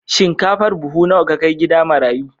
Shinkafar buhu nawa ka kai gida marayu?